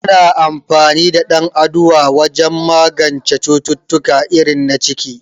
Ana amfani da dan aduwa wajen magance cututtuka irin na ciki